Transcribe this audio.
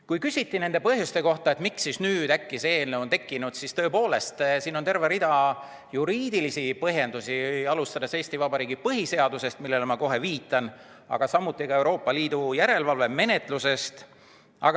Kui küsiti põhjuste kohta, miks nüüd äkki see eelnõu on tekkinud, siis siin on terve rida juriidilisi põhjendusi, alustades Eesti Vabariigi põhiseadusest, millele ma kohe viitan, aga samuti Euroopa Liidu järelevalvemenetlusest.